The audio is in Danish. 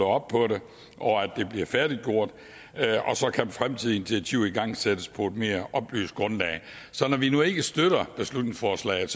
op på det og at det bliver færdiggjort så kan fremtidige initiativer igangsættes på et mere oplyst grundlag så når vi nu ikke støtter beslutningsforslaget